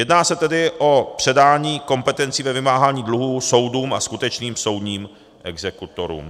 Jedná se tedy o předání kompetencí ve vymáhání dluhů soudům a skutečným soudním exekutorům.